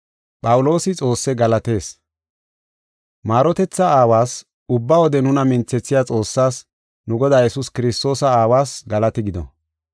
Maarotetha Aawas, ubba wode nuna minthethiya Xoossaas, nu Godaa Yesuus Kiristoosa Aawas galati gido.